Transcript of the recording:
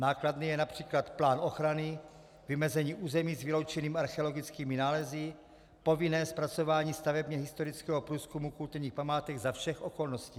Nákladný je například plán ochrany, vymezení území s vyloučenými archeologickými nálezy, povinné zpracování stavebně historického průzkumu kulturních památek za všech okolností.